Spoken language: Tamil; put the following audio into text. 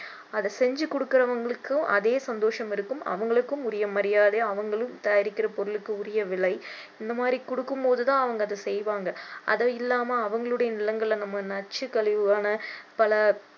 அதை செஞ்சி கொடுக்கிறவங்களுக்கும் அதே சந்தோஷம் இருக்கும் அவங்களுக்கும் உரிய மரியாதை அவங்களும் தயாரிக்கிற பொருளுக்கு உரிய விலை இந்த மாதிரி கொடுக்கும் போது தான் அவங்க அதை செய்வாங்க அதை இல்லாம அவங்களுடைய நிலங்களை நம்ம நச்சுக் கழிவான பல